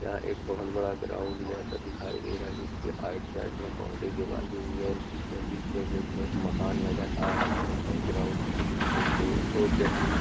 यहां एक बहुत बड़ा ग्राउंड ऐसा दिखाई दे रहा हैं जिसके आइट साइड में बाउडरी दीवाल हुई हैं और बीचो बीच कुछ मकान नज़र आ रहे हैं और ग्राउंड का कुछ तो वो व्यक्ति--